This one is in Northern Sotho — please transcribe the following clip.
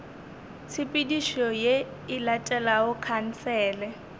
tshepedišo ye e latelago khansele